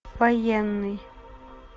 военный